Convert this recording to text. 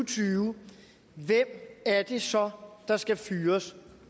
tyve hvem er det så der skal fyres